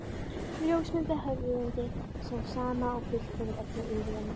Ljósmynd af höfundi, sú sama og fylgt hefur öllu ýlfrinu.